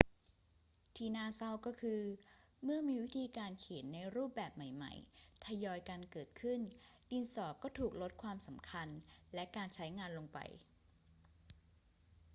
ที่น่าเศร้าก็คือ เมื่อมีวิธีการเขียนในรูปแบบใหม่ ๆ ทยอยกันเกิดขึ้น ดินสอก็ถูกลดความสำคัญและการใช้งานลงไป